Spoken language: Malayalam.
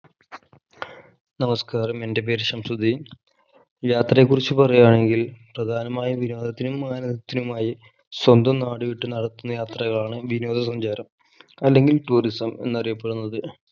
നമസ്കാരം എൻ്റെ പേര് ശംസുദ്ധീൻ യാത്രയെ കുറിച് പറയാണെങ്കിൽ പ്രധാനമായും വിനോദത്തിനും ആനദതിനുമായി സ്വന്തം നാട് വിട്ടു നടത്തുന്ന യാത്രകളാണ് വിനോദ സഞ്ചാരം അല്ലെങ്കിൽ tourism എന്നറിയപ്പെടുന്നത്